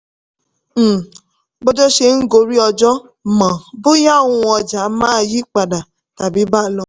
um bọ́jọ́ ṣe ń gorí ọjọ́ mọ̀ bóyá ohun ọjà máa yí padà tàbí bá a lọ.